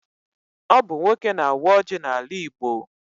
Ọ bụ nwoke na-awa ọjị n'ala Igbo.